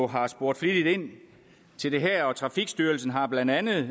har spurgt flittigt til det her og trafikstyrelsen har blandt andet